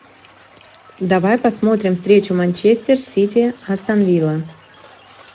давай посмотрим встречу манчестер сити астон вилла